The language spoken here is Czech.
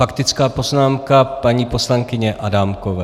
Faktická poznámka paní poslankyně Adámkové.